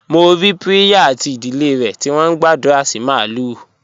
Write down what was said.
Mo rí Priya àti ìdílé rẹ̀ tí wọ́n ń gbàdúrà sí màlúù.